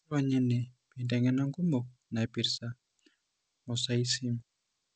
Ironya ene peiteng'ena inkumok naipirta mosaicism.